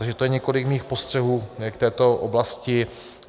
Takže to je několik mých postřehů k této oblasti.